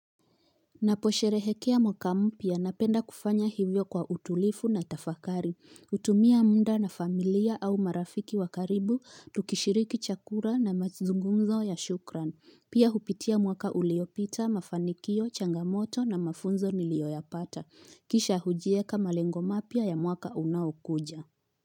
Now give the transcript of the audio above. Naposherehekea mwaka mpya napenda kufanya hivyo kwa utulifu na tafakari, utumia mda na familia au marafiki wakaribu, tukishiriki chakura na mazungunzo ya shukran, pia hupitia mwaka uliopita, mafanikio, changamoto na mafunzo niliyoyapata, kisha hujieka malengomapya ya mwaka unaokuja.